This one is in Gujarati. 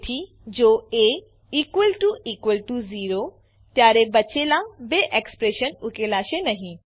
તેથી જો એ ઝેરો ત્યારે બચેલા બે એક્સપ્રેશન ઉકેલાશે નહી